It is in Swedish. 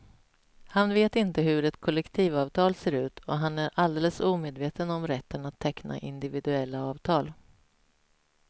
Han vet inte hur ett kollektivavtal ser ut och han är alldeles omedveten om rätten att teckna individuella avtal.